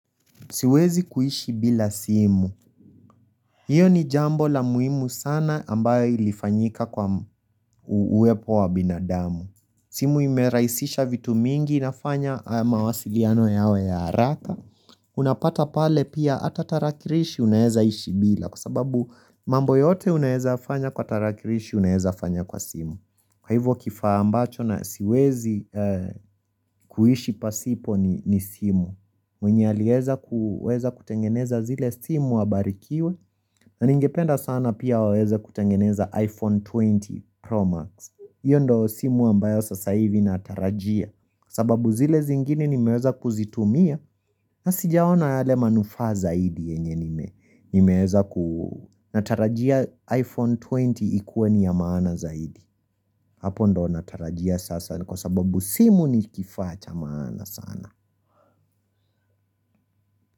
Siwezi kuishi bila simu Iyo ni jambo la muhimu sana ambayo ilifanyika kwa uwepo wa binadamu simu imerahisisha vitu mingi inafanya mawasiliano yawe ya haraka Unapata pale pia hata tarakilishi unaeza ishi bila Kwa sababu mambo yote unaweza fanya kwa tarakilishi unaeza fanya kwa simu Kwa hivyo kifaa ambacho na siwezi kuishi pasipo ni simu mwenye alieza kuweza kutengeneza zile simu abarikiwe na ningependa sana pia waweze kutengeneza iPhone 20 Pro Max Iyo ndo simu ambayo sasa hivi natarajia sababu zile zingini nimeweza kuzitumia na sijaona yale manufaa zaidi yenye nime Nimeweza ku natarajia iPhone 20 ikuwe ni ya maana zaidi Hapo ndo natarajia sasa kwa sababu simu ni kifaa cha maana sana.